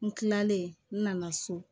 N kilalen n nana so